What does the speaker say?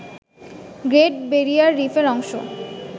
great barrier রিফের অংশ